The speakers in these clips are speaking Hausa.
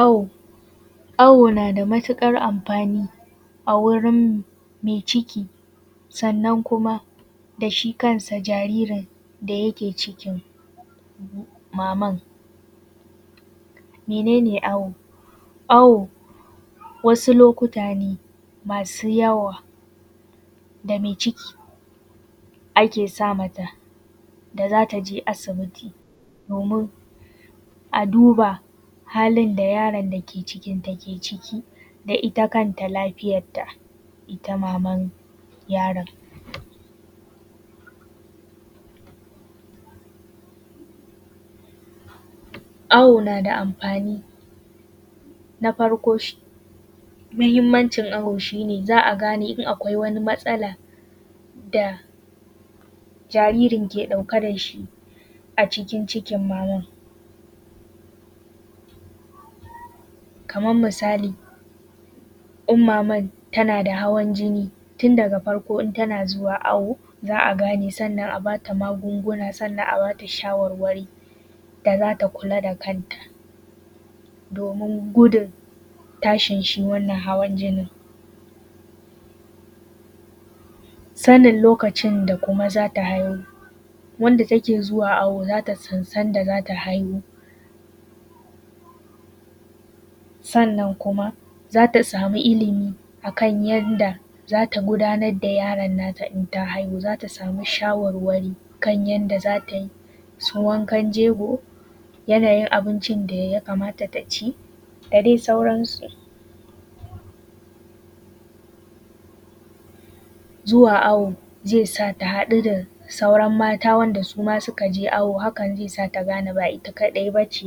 Awo, awo na da matuƙar amfani a wurin mai ciki sannan kuma da shi kansa jaririn da yake cikin maman. Mene ne awo? Awo wasu lokuta ne masu yawa da mai ciki ake sa mata da za ta je asibiti domin a duba halin da yaron da ke cikin ta ke ciki da ita kanta lafiyar ta ita mamanyaron. Awo na da amfani. Na farkon muhimmancin awo shi ne za a gane in akwai matsala da jaririn ke ɗauke da shi a cikin cikin maman. Kamar misali in maman tana da hawan jinni, tun daga farko in tana zuwa awo, za a gane, sannan a bata magunguna, sannan a bata shawarwari da za ta kula da kanta domin gudun tashi shi wannan hawan jinin. Sanin kuma lokacin da za ta haihu. Wanda take zuwa awo za ta san sanda za ta haihu. Sannan kuma za ta samu ilimi akan yadda za ta gudanar da yaron nata idan ta haihu, za ta samu shawarwari kan yadda za ta yi su wankan jego, yanayin abincin da ya kamata ta ci, da dai sauransu. Zuwa awo zai sa ta haɗu da sauran mata wanda suma suka je awo, hakan zai sa ta gane ba ita kaɗai b ace.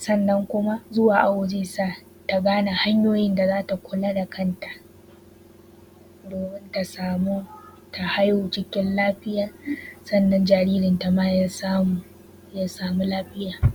Sannan kuma zuwa awo zai sa ta gane hanyoyin da za ta kula da kanta, domin ta samu ta haihu cikin lafiya, sannan jaririnta ma ya samu ya samu lafiya.